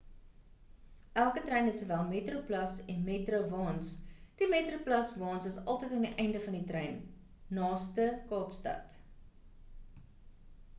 elke trein het sowel metroplus en metro-waens die metroplus-waens is altyd aan die einde van die trein naaste kaapstad